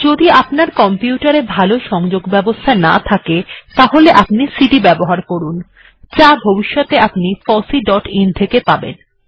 যদি আপনার কম্পিউটার এ ভালো সংযোগ ব্যবস্থা না থাকে তাহলে আপনি সিডি ব্যবহার করুন যা ভবিষ্যতে fosseeআইএন থেকে পাবেন